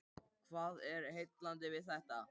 Hvað er heillandi við þetta?